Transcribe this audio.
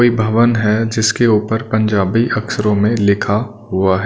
कोई भवन है जिसके ऊपर पंजाबी अक्षरों में लिखा हुआ है।